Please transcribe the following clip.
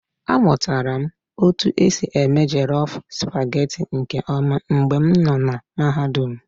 Amụtara m otu esi eme jollof supagetii nke ọma mgbe m nọ na Mahadum.